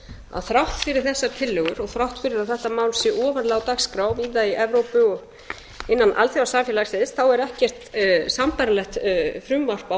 að þrátt fyrir þessar tillögur og þrátt fyrir að þetta mál sé ofarlega á dagskrá víða í evrópu og innan alþjóðasamfélagsins þá er ekkert sambærilegt frumvarp á